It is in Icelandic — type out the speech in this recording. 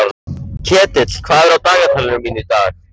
Ketill, hvað er á dagatalinu mínu í dag?